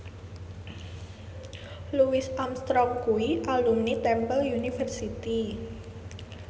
Louis Armstrong kuwi alumni Temple University